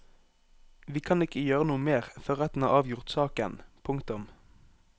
Vi kan ikke gjøre noe mer før retten har avgjort saken. punktum